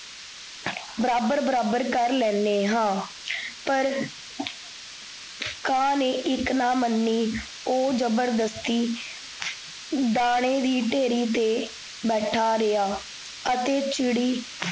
ਬਰਾਬਰ ਬਰਾਬਰ ਕਰ ਲੈਣੇ ਹਾਂ ਪਰ ਕਾਂ ਨੇ ਇਕ ਨਾ ਮੰਨੀ ਓਹ ਜਬਰਦਸਤੀ , ਦਾਨੇ ਵੀ ਢੇਰੀ ਤੇ ਲਾ ਰਿਹਾ, ਅਤੇ ਚਿੜੀ